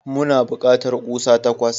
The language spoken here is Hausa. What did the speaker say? Muna bukatar kusa takwas.